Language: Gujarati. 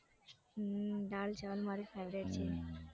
હમ દાળ ચાવલ મારી favourite છે.